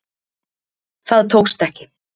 Það tókst ekki